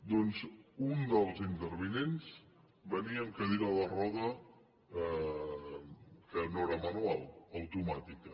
doncs un dels intervinents venia amb cadira de rodes que no era manual automàtica